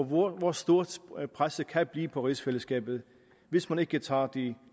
hvor stort presset kan blive på rigsfællesskabet hvis man ikke tager de